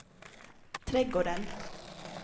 trädgården